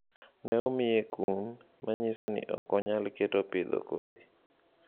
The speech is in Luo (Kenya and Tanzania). Ne omiye kum, ma nyiso ni ok onyal keto pidho kodhi.